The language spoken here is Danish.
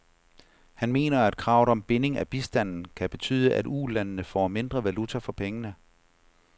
Han mener, at kravet om binding af bistanden kan betyde, at ulandene får mindre valuta for pengene.